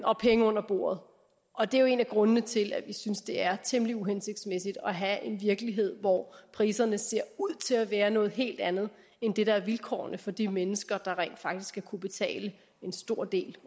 og penge under bordet og det er jo en af grundene til at vi synes det er temmelig uhensigtsmæssigt at have en virkelighed hvor priserne ser ud til at være noget helt andet end det der er vilkårene for de mennesker der rent faktisk skal kunne betale en stor del